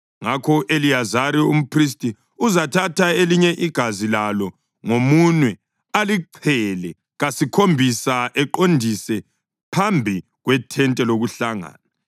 Ngakho u-Eliyazari umphristi uzathatha elinye igazi lalo ngomunwe alichele kasikhombisa eqondise phambi kwethente lokuhlangana.